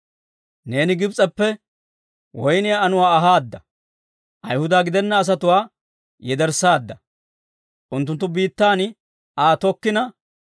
Neeni Gibs'eppe woyniyaa anuwaa ahaada; ayihuda gidena asatuwaa yederssaadda, unttunttu biittaan Aa tokkaadda.